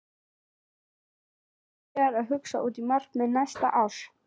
Ertu byrjaður að hugsa út í markmið fyrir næsta ár?